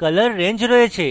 colour range রয়েছে